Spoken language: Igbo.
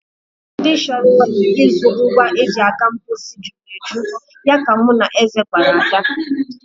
Ndị chọrọ ịzụ ngwa e ji aga mposi juru eju, ya ka mụ na Eze gwara Ada.